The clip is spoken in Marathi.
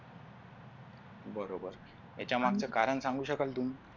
बरोबर त्याच्या मागच कारण सांगू शकाल तुम्ही?